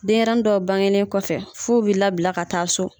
Denɲɛrɛnin dɔw bangelen kɔfɛ f'u bɛ labila ka taa so.